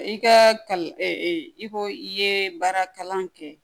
I ka i ko i ye baara kalan kɛ